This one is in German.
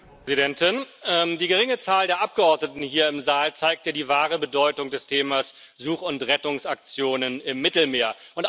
Frau Präsidentin! Die geringe Zahl der Abgeordneten hier im Saal zeigt ja die wahre Bedeutung des Themas Such und Rettungsaktionen im Mittelmeer.